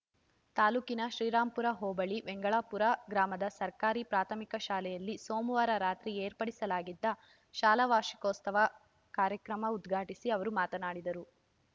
ತಾಲೂಕಿನ ಶ್ರೀರಾಂಪುರ ಹೋಬಳಿ ವೆಂಗಳಾಪುರ ಗ್ರಾಮದ ಸರ್ಕಾರಿ ಪ್ರಾಥಮಿಕ ಶಾಲೆಯಲ್ಲಿ ಸೋಮವಾರ ರಾತ್ರಿ ಏರ್ಪಡಿಸಲಾಗಿದ್ದ ಶಾಲಾ ವಾರ್ಷಿಕೋತ್ಸವ ಕಾರ್ಯಕ್ರಮ ಉದ್ಘಾಟಿಸಿ ಅವರು ಮಾತನಾಡಿದರು